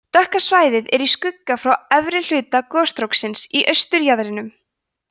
dökka svæðið er í skugga frá efri hluta gosstróksins í austurjaðrinum